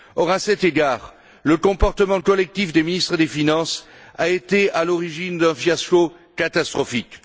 Or, à cet égard, le comportement collectif des ministres des finances a été à l'origine d'un fiasco catastrophique.